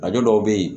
A dɔw bɛ yen